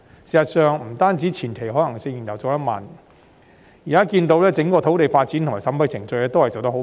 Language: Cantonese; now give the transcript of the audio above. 事實上，不單前期可行性研究做得緩慢，現在我們看到整個土地發展和審批程序均做得甚緩慢。